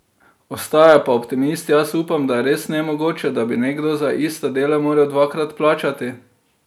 Ostaja pa optimist: "Jaz upam, da je res nemogoče, da bi nekdo za ista dela moral dvakrat plačati.